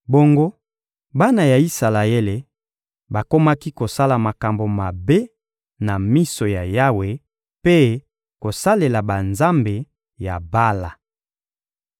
Bongo bana ya Isalaele bakomaki kosala makambo mabe na miso ya Yawe mpe kosalela banzambe ya Bala.